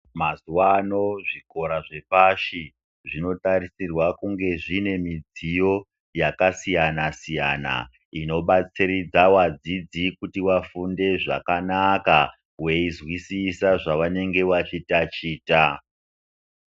Mazuva ano zvikora zvepashi zvino tarisirwa kunge zvine mudziyo yaka siyana siyana ino batsiridza vadzidzi kuti vafunde zvakanaka veyi nzwisisa zvavange veyi taticha.